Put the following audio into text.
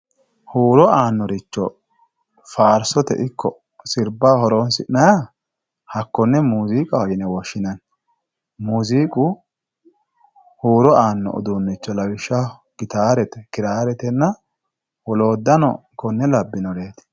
Huuro aanoricho faarsote ikko sirbaho horonsi'nanniha hakkone muziiqaho yine woshshinanni, muziiqu huuro aano uduunicho lawishshaho gitare ,kiraretenna woloottano konne labbinoreti.